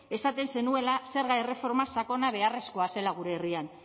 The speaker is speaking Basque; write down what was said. esaten zenuela zerga erreforma sakona beharrezkoa zela gure herrian